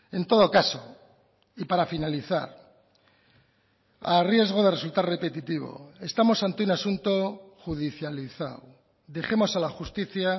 en todo caso y para finalizar a riesgo de resultar repetitivo estamos ante un asunto judicializado dejemos a la justicia